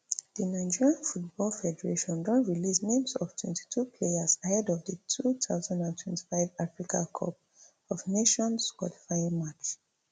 di nigeria football federation don release names of twentytwo players ahead of di two thousand and twenty-five africa cup of nations qualifying match